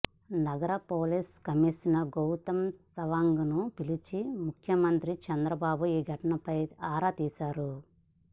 నగర police commissioner Gautam సవాంగ్ను పిలిపించి ముఖ్యమంత్రి చంద్రబాబు ఈ ఘటనపై ఆరా తీశారు